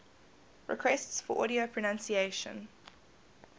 requests for audio pronunciation